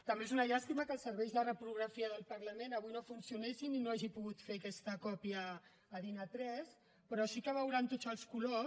també és una llàstima que els serveis de reprografia del parlament avui no funcionessin i no hagi pogut fer aquesta còpia a din a3 però sí que veuran tots els colors